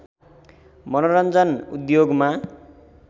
मनोरञ्जन उद्योगमा